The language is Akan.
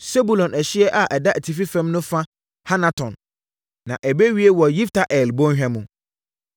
Sebulon ɛhyeɛ a ɛda atifi fam no fa Hanaton na ɛbɛwiee wɔ Yifta-El bɔnhwa mu.